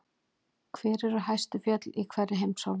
Hver eru hæstu fjöll í hverri heimsálfu?